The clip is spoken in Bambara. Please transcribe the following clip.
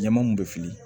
Ɲaman mun bɛ fili